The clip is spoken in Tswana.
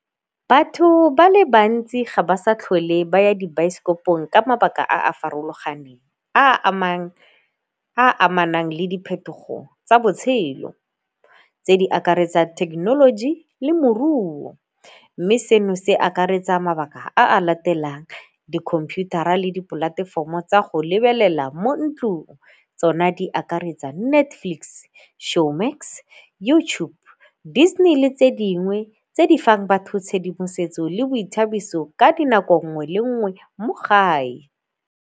Batho ba le bantsi ga ba sa tlhole ba ya dibaesekopong ka mabaka a a farologaneng a amanang le diphetogo tsa botshelo tse di akaretsa thekenoloji le moruo. Mme seno se akaretsa mabaka a latelang, dikhomputara le dipolatefomo tsa go lebelela mo ntlung tsona di akaretsa Netflix, Showmax, YouTube, Disney le tse dingwe tse di fang batho tshedimosetso le boithabiso ka dinako nngwe le nngwe mo gae.